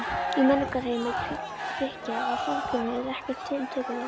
Í menningarheimi Grikkja var samkynhneigð ekkert tiltökumál.